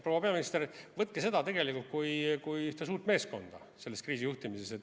Proua peaminister, võtke seda kui üht suurt meeskonda selles kriisijuhtimises.